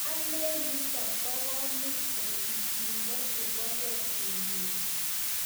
Alen nitok kokomuch ko pichindo nebo kee kumik